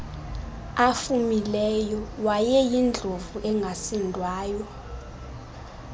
afumileyo wayeyindlovu engasindwayo